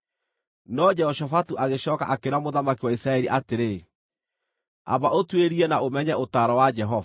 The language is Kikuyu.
No Jehoshafatu agĩcooka akĩĩra mũthamaki wa Isiraeli atĩrĩ, “Amba ũtuĩrie na ũmenye ũtaaro wa Jehova.”